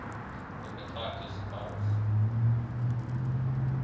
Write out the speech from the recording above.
hepatitis virus